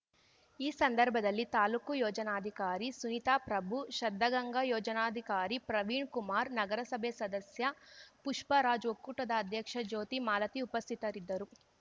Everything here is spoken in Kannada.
ಈ ಸಂದರ್ಭದಲ್ಲಿ ತಾಲೂಕು ಯೋಜನಾಧಿಕಾರಿ ಸುನೀತ ಪ್ರಭು ಶದ್ಧಗಂಗಾ ಯೋಜನಾಧಿಕಾರಿ ಪ್ರವೀಣ್‌ಕುಮಾರ್‌ ನಗರಸಭೆ ಸದಸ್ಯ ಪುಷ್ಪರಾಜ್‌ ಒಕ್ಕೂಟದ ಅಧ್ಯಕ್ಷ ಜೋತಿ ಮಾಲತಿ ಉಪಸ್ಥಿತರಿದ್ದರು